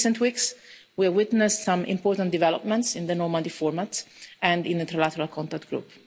In recent weeks, we have witnessed some important developments in the Normandy format and in the Trilateral Contact Group.